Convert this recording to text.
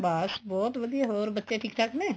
ਬੱਸ ਬਹੁਤ ਵਧੀਆ ਹੋਰ ਬੱਚੇ ਠੀਕ ਠਾਕ ਨੇ